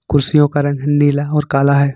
कुर्सियों का रंग नीला और काला है।